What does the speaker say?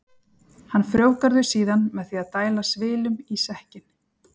Hann frjóvgar þau síðan með því að dæla svilum í sekkinn.